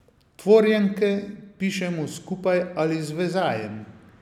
Tvorjenke pišemo skupaj ali z vezajem.